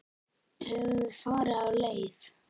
Höfum við farið af leið?